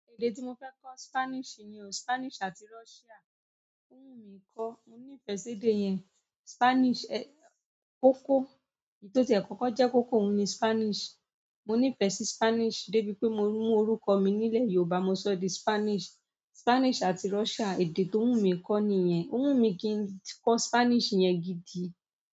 Èdè tí mo fẹ́ kọ́ Spanish ni o. Spanish àti Russia. Ó wù mí kọ́. Mo ní ìfẹ́ sí èdè yẹn. Spanish, ẹ̀, koko. Èyí tó tiẹ kọ́kọ́ jẹ́ kókó oun ni Spanish. Mo ní ìfẹ́ sí Spanish dé bí pé mo mú orúkọ mi nílẹ̀ Yorùbá mo sọ di Spanish. Spanish àti Russia èdè tó wù mí kọ́ ni ìyẹn. Ó wù mí kí n kọ́ Spanish yẹn gidi.